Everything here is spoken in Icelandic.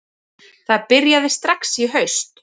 Það byrjaði strax í haust